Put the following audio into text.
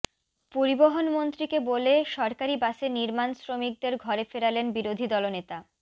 পরিবহণ মন্ত্রীকে বলে সরকারি বাসে নির্মাণ শ্রমিকদের ঘরে ফেরালেন বিরোধী দলনেতা